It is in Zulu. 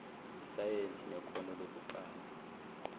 isayensi nekhono lokuqamba